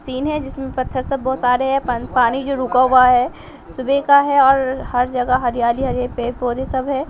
Scene है जिसमें पत्थर सब बहुत सारे हैं पानी जो रुका हुआ है सुबह का है और हर जगह हरियाली हरे पेर पौधे सब है।